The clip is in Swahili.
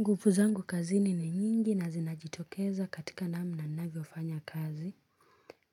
Nguvu zangu kazini ni nyingi na zinajitokeza katika namna ninavyo fanya kazi.